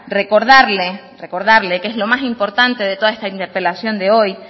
recordarle recordarle que es lo más importante de toda esta interpelación de hoy